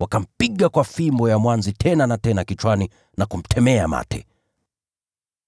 Wakampiga kwa fimbo ya mwanzi tena na tena kichwani na kumtemea mate.